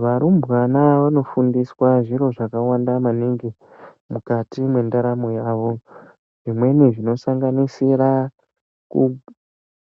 Varumbwana vanofundiswa zviro zvakawanda maningi mukati mwendaramo yavo. Zvimweni zvinosanganisira